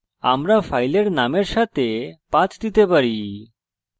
আমরা file নামের সাথে path দিতে পারি